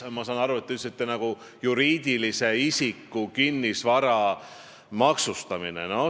Ma saan aru, et te rääkisite juriidilise isiku kinnisvara maksustamisest.